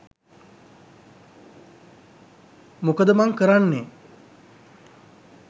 මොකද මන් කරන්නේ?